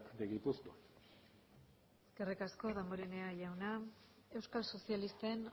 de gipuzkoa eskerrik asko damborenea jauna euskal sozialisten